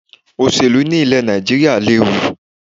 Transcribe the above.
Òṣèlú ni ilè Nàìjíríà léwu